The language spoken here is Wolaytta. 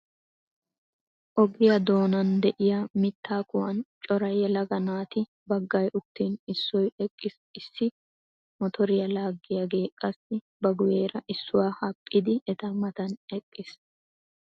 Ogiyaa doonan de"iyaa mittaa kuwan cora yelaga naati baggay uttin issoy eqqis issi motoriyaa laaggiyaagee qassi ba guyyeera issuwa hadhafidi eta matan eqqis.